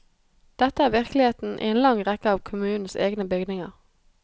Dette er virkeligheten i en lang rekke av kommunens egne bygninger.